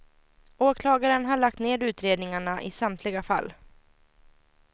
Åklagaren har lagt ned utredningarna i samtliga fall.